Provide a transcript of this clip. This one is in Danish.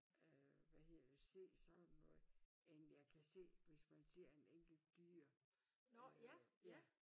Øh hvad hedder det se sådan noget end jeg kan se hvis man ser en enkelt dyr øh ja